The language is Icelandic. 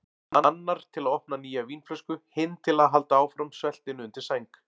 Annar til að opna nýja vínflösku, hinn til að halda áfram sveltinu undir sæng.